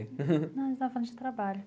Não, a gente estava falando de trabalho.